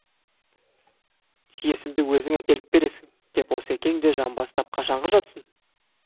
тиесімді өзің әкеліп бересің деп осекең де жамбастап қашанғы жатсын